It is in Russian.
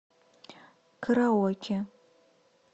караоке